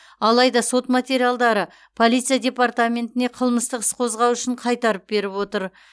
алайда сот материалдарды полиция департаментіне қылмыстық іс қозғау үшін қайтарып беріп отыр